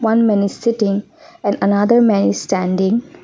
one man is sitting and other man is standing.